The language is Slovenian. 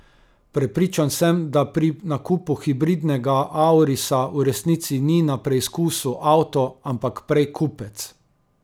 Prepričan sem, da pri nakupu hibridnega aurisa v resnici ni na preskusu avto, ampak prej kupec.